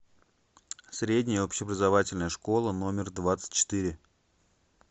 средняя общеобразовательная школа номер двадцать четыре